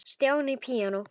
Stjáni píanó